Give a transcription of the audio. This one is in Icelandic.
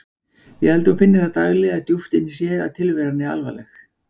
Ég held að hún finni það daglega djúpt inni í sér að tilveran er alvarleg.